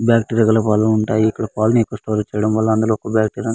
పాలు ఐటెం దొరకు తాయి పాలు --